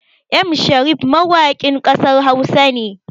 M Sharif mawakin ƙasar Hausa ne